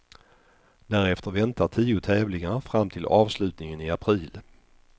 Därefter väntar tio tävlingar fram till avslutningen i april.